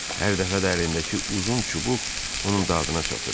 Hər dəfə əlindəki uzun çubuq onun dadına çatırdı.